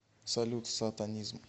салют сатанизм